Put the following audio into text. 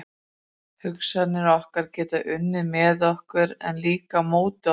Hugsanir okkar geta unnið með okkur, en líka á móti okkur.